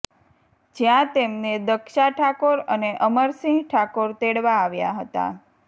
જ્યાં તેમને દક્ષા ઠાકોર અને અમરસિંહ ઠાકોર તેડવા આવ્યા હતા